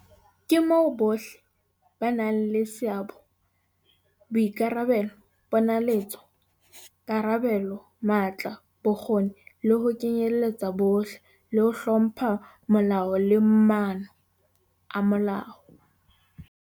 Ke moo bohle ba nang le seabo, boikarabelo, ponaletso, karabelo, matla, bokgoni, le ho kenyelletsa bohle, le ho hlompha molao le maano a molao.